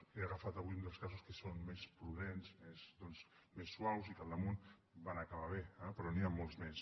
he agafat avui un dels casos que són més prudents més suaus i que damunt van acabar bé eh però n’hi ha molts més